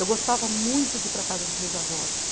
Eu gostava muito de ir para a casa dos meus avós.